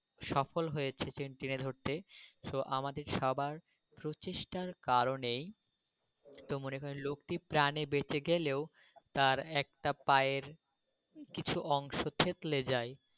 সফল হয়েছে চেন টেনে ধরতে। তো আমাদের সবার প্রচেষ্টার কারণেই তো মনে হয় লোকটি প্রাণে বেঁচে গেলেও তার একটা পায়ের কিছু অংশ থেঁতলে যায়।